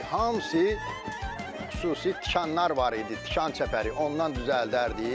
Hamısı xüsusi tikanlar var idi, tikan çəpəri ondan düzəldərdik.